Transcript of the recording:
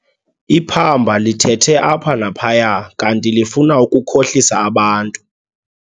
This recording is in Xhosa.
Iphamba lithethe apha naphaya kanti lifuna ukukhohlisa abantu.